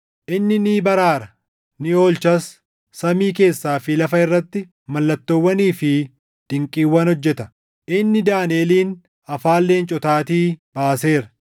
Inni ni baraara; ni oolchas; samii keessaa fi lafa irratti mallattoowwanii fi dinqiiwwan hojjeta. Inni Daaniʼelin, afaan leencotaatii baaseera.”